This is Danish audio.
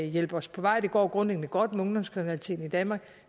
hjælpe os på vej det går grundlæggende godt med ungdomskriminaliteten i danmark